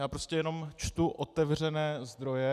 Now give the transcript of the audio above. Já prostě jenom čtu otevřené zdroje.